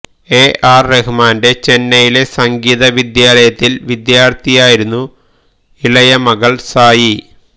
AR റഹ്മാന്റെ ചെന്നൈയിലെ സംഗീത വിദ്യാലയത്തില് വിദ്യാര്ത്ഥിയായിരുന്നു ഇളയ മകള് സായി